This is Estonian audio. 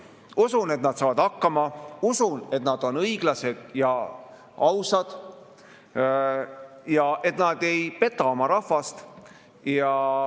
Usun, et nad saavad hakkama, usun, et nad on õiglased ja ausad ja et nad ei peta oma rahvast.